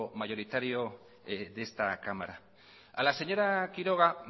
mayoritario de esta cámara a la señora quiroga